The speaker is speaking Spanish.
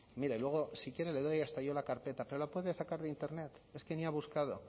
mire luego si quiere le doy hasta yo la carpeta pero la puede sacar de internet es que ni ha buscado